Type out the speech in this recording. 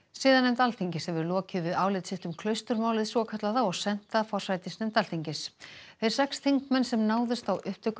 siðanefnd Alþingis hefur lokið við álit sitt um svokallaða og sent það forsætisnefnd Alþingis þeir sex þingmenn sem náðust á upptöku